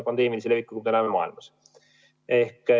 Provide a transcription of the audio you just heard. Pandeemilist levikut näeme terves maailmas.